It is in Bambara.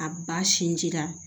A ba sinji la